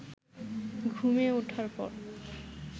ঘুমিয়ে ওঠার পর